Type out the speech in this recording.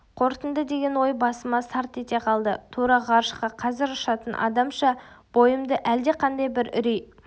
қорытынды деген ой басыма сарт ете қалды тура ғарышқа қазір ұшатын адамша бойымды әлдеқандай бір үрей